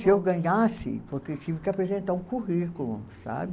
Se eu ganhasse, porque tive que apresentar um currículo, sabe?